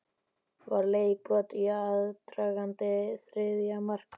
Var leikbrot í aðdraganda þriðja marks Vals?